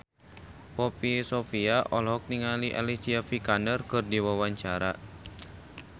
Poppy Sovia olohok ningali Alicia Vikander keur diwawancara